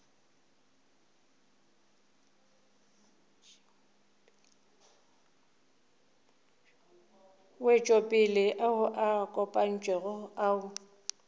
wetšopele ao a kopantšwego ao